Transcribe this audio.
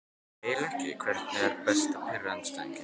Nei eiginlega ekki Hvernig er best að pirra andstæðinginn?